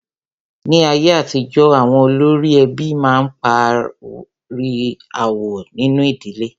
Ní ayé àtijọ́, àwọn olórí ẹbí a máa parí aáwọ̀ nínu ìdílé.